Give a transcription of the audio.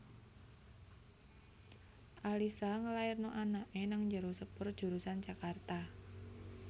Alissa ngelairno anak e nang njero sepur jurusan Jakarta